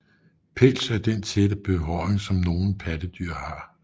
Pels er den tætte behåring som nogle pattedyr har